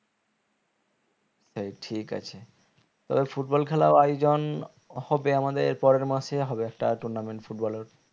সেই ঠিক আছে তো football খেলার আয়োজন হবে আমাদের পরের মাসেই হবে star tournament footballer